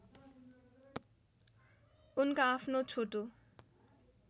उनका आफ्नो छोटो